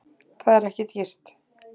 Það er ekki dýrt